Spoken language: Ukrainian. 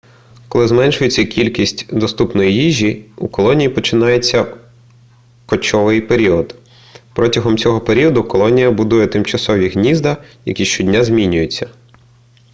коли зменшується кількість доступної їжі у колонії починається кочовий період протягом цього періоду колонія будує тимчасові гнізда які щодня змінюються